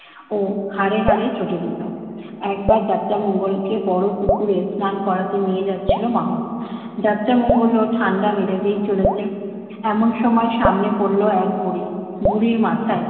ও হারে হারে চটে যেত। একবার যাত্রামঙ্গলকে বড় পুকুরে স্নান করাতে নিয়ে যাচ্ছিল মাহূত। যাত্রামঙ্গলও ঠান্ডা মেজাজেই চলেছে। এমন সময় সামনে পড়ল এক বুড়ি। বুড়ির মাথায়